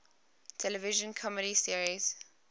television comedy series